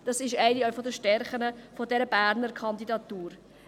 Das ist auch eine Stärke dieser Berner Kandidatur.